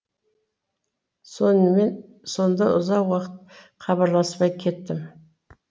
сонымен сонда ұзақ уақыт хабарласпай кеттім